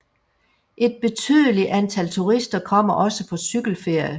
Et betydelig antal turister kommer også på cykelferie